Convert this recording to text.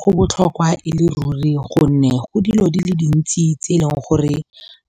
Go botlhokwa e le ruri gonne go dilo di le dintsi tse e leng gore